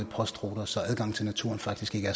postruter så adgangen til naturen faktisk ikke